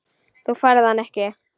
Þú færð hann ekki.